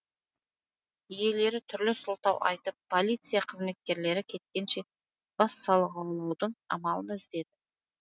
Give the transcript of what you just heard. иелері түрлі сылтау айтып полиция қызметкерлері кеткенше бас сауғалаудың амалын іздеді